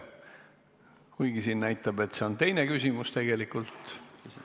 Kuigi siin näitab, et see on teine küsimus, on see tegelikult esimene.